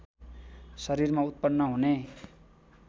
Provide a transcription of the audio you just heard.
शरीरमा उत्पन्न हुने